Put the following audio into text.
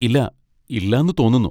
ഇല്ല, ഇല്ലാന്ന് തോന്നുന്നു.